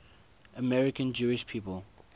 american jewish people